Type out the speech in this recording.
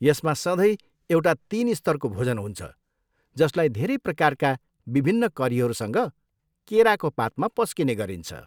यसमा सँधै एउटा तिन स्तरको भोजन हुन्छ जसलाई धेरै प्रकारका विभिन्न करीहरूसँग केराको पातमा पस्किने गरिन्छ।